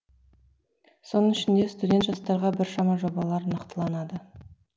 соның ішінде студент жастарға біршама жобалар нақтыланады